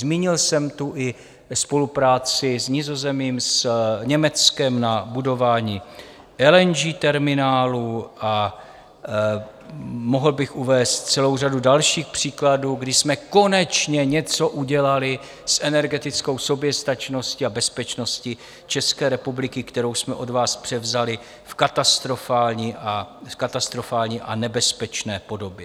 Zmínil jsem tu i spolupráci s Nizozemím, s Německem na budování LNG terminálu a mohl bych uvést celou řadu dalších příkladů, kdy jsme konečně něco udělali s energetickou soběstačnosti a bezpečnosti České republiky, kterou jsme od vás převzali v katastrofální a nebezpečné podobě.